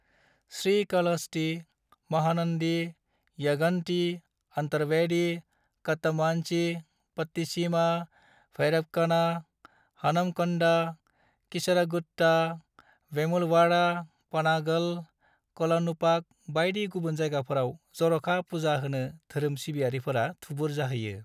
श्रीकालहस्ती, महानंदी, यगंती, अंतरवेदी, कट्टामांची, पट्टिसीमा, भैरवक'ना, हानमकंडा, कीसरागुट्टा, वेमुलवाड़ा, पनागल, कोलानुपाक बायदि गुबुन जायगाफोराव जर'खा पूजा होनो धोरोम सिबियारिफोरा थुबुर जाहैयो।